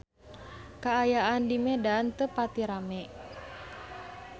Kaayaan di Medan teu pati rame